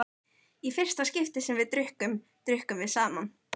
Í fyrsta skipti sem við drukkum, drukkum við saman.